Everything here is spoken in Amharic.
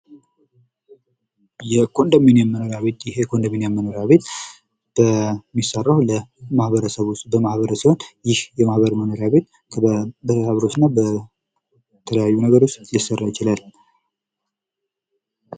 የኮንዶሚኒየም ቤቶች የሚሰሩት በጋራ መኖርያነት እንዲያገለግል ተደርጎ ሲሆን ብዙ ሰዎች በአንድ ላይ ይኖሩበታል።